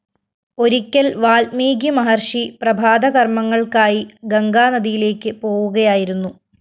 ഒരിക്കല്‍ വാല്‍മീകി മഹര്‍ഷി പ്രഭാത കര്‍മ്മങ്ങള്‍ക്കായി ഗംഗാ നദിയിലേക്ക് പോവുകയായിരുന്നു